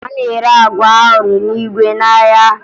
A na-ere agwa ahụrụ n'igwe n'ahịa